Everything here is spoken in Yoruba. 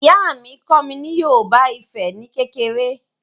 Ìyá mi kọ́ mi ní Yorùbá Ifẹ̀ ni kékeré